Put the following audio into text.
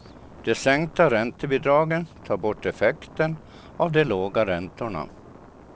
De sänkta räntebidragen tar bort effekten av de låga räntorna.